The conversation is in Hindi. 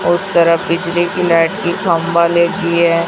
उस तरफ बिजली की लाइट की खंभा लगी है।